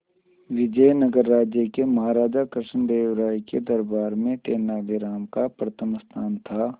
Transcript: विजयनगर राज्य के महाराजा कृष्णदेव राय के दरबार में तेनालीराम का प्रथम स्थान था